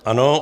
Ano.